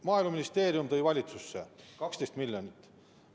Maaeluministeerium tõi valitsusse 12 miljonit.